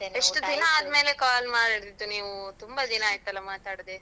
call ಮಾಡಿದ್ದು ನೀವು ತುಂಬಾ ದಿನ ಆಯ್ತಲ್ಲ ಮಾತಾಡ್ದೆ?